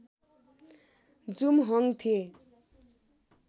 जुमहोङ थिए